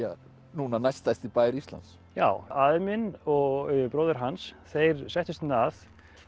núna næststærsti bær Íslands já afi minn og bróðir hans þeir settust hérna að